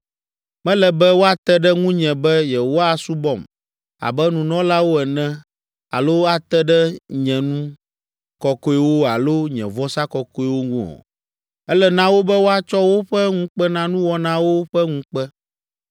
Mele be woate ɖe ŋunye be yewoasubɔm abe nunɔlawo ene alo ate ɖe nye nu kɔkɔewo alo nye vɔsa kɔkɔewo ŋu o. Ele na wo be woatsɔ woƒe ŋukpenanuwɔnawo ƒe ŋukpe.